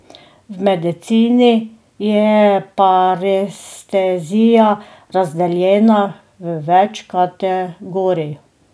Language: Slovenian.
V medicini je parestezija razdeljena v več kategorij.